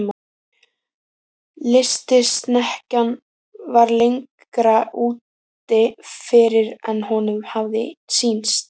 Lystisnekkjan var lengra úti fyrir en honum hafði sýnst.